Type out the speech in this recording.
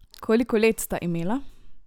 Koliko let sta imela?